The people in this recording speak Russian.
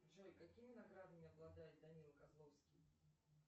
джой какими наградами обладает данила козловский